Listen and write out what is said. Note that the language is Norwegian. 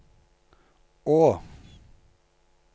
å